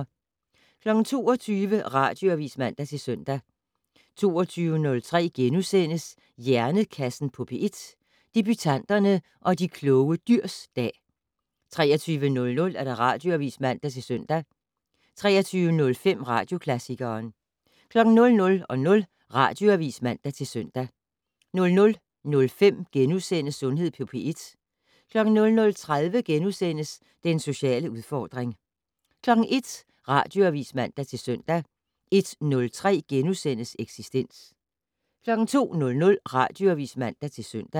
22:00: Radioavis (man-søn) 22:03: Hjernekassen på P1: Debutanterne og de kloge dyrs dag * 23:00: Radioavis (man-søn) 23:05: Radioklassikeren 00:00: Radioavis (man-søn) 00:05: Sundhed på P1 * 00:30: Den sociale udfordring * 01:00: Radioavis (man-søn) 01:03: Eksistens * 02:00: Radioavis (man-søn)